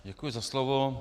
Děkuji za slovo.